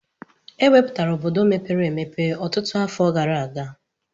E wupụtala obodo mepere emepe ọtụtụ afọ gara aga.